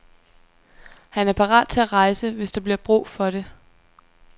Han er parat til at rejse, hvis der bliver brug for det.